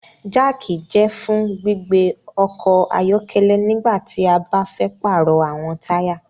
Jack jẹ fún gbígbé ọkọ ayọkẹlẹ nígbàtí a ba fẹ parọ awọn taya